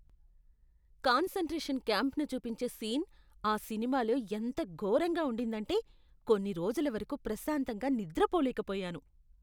Concentration క్యాంప్ను చూపించే scene ఆ సినిమాలో ఎంత ఘోరంగా ఉండిందంటే, కొన్ని రోజుల వరకు ప్రశాంతంగా నిద్రపోలేకపోయాను.